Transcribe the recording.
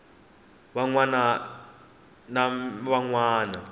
man wana na man wana